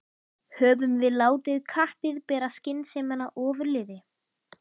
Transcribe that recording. Höfum við látið kappið bera skynsemina ofurliði?